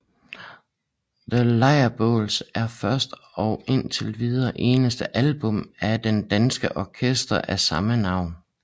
The Lejrbåls er første og indtil videre eneste album af det danske orkester af samme navn